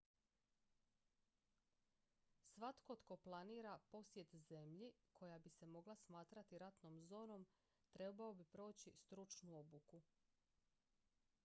svatko tko planira posjet zemlji koja bi se mogla smatrati ratnom zonom trebao bi proći stručnu obuku